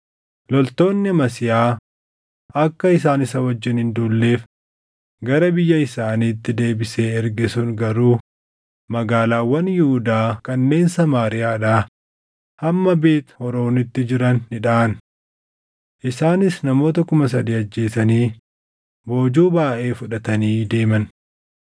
Loltoonni Amasiyaa akka isaan isa wajjin hin duulleef gara biyya isaaniitti deebisee erge sun garuu magaalaawwan Yihuudaa kanneen Samaariyaadhaa hamma Beet Horoonitti jiran ni dhaʼan. Isaanis namoota kuma sadii ajjeesanii boojuu baayʼee fudhatanii deeman.